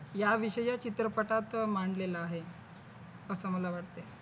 याविषयी या चित्रपटात मांडलेलं आहे. असं मला वाटतंय.